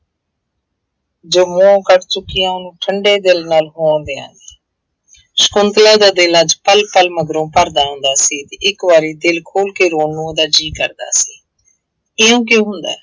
ਜੋ ਮੂੰਹੋਂ ਕੱਢ ਚੁੱਕੀ ਹਾਂ ਉਹਨੂੰ ਠੰਢੇ ਦਿਲ ਨਾਲ ਹੋਣ ਦਿਆਂਗੀ, ਸਕੁੰਤਲਾ ਦਾ ਦਿਲ ਅੱਜ ਪਲ ਪਲ ਮਗਰੋਂ ਭਰਦਾ ਆਉਂਦਾ ਸੀ ਤੇ ਇੱਕ ਵਾਰੀ ਦਿਲ ਖੋਲ ਕੇ ਰੌਣ ਨੂੰ ਉਹਦਾ ਜੀਅ ਕਰਦਾ ਸੀ ਇਉਂ ਕਿਉਂ ਹੁੰਦਾ ਹੈ।